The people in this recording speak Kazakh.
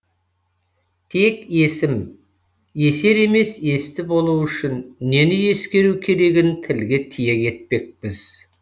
тек есім есер емес есті болу үшін нені ескеру керегін тілге тиек етпекпіз